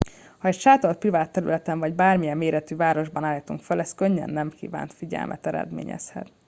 ha egy sátort privát területen vagy bármilyen méretű városban állítunk fel ez könnyen nem kívánt figyelmet eredményezhet